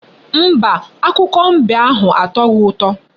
Mba, akụkọ ifo mbe ahụ atoghi ụtọ.